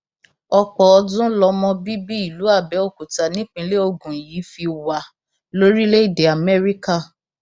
ọpọ ọdún lọmọ bíbí ìlú abẹọkútà nìpínlẹ ogun yìí fi wà lórílẹèdè amẹríkà